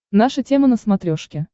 наша тема на смотрешке